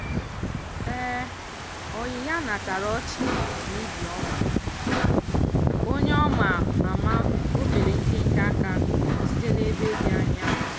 ọyị ya natara ọchị na ibi ọma; onye ọ ma ama ofere nkenke aka site n'ebe dị anya.